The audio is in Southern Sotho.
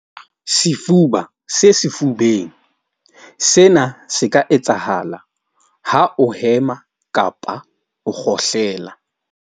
Sefuba se sefubeng sena se ka etsahala ha o hema kapa o kgohlela.